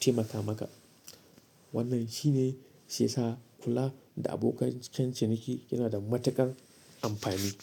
taimaka maka. Wannan shine shi yasa kula da abokan ciniki yana da matuƙar amfani.